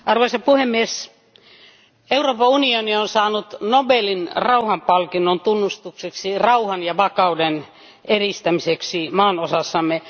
Arvoisa puhemies, Euroopan unioni on saanut Nobelin rauhanpalkinnon tunnustukseksi rauhan ja vakauden edistämiseksi maanosassamme.